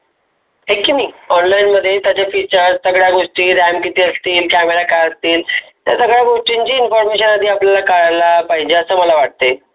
हाय की नाही online मध्ये त्याची Feature सगळ्या गोष्टी ऱ्याम किती असते किती असते. त्या सगळ्या गोष्टीची Information आपण करायला पाहिजे असं मला वाटते.